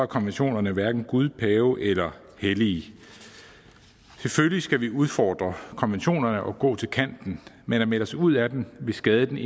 konventionerne hverken gud pave eller hellige selvfølgelig skal vi udfordre konventionerne og gå til kanten men at melde os ud af dem vil skade den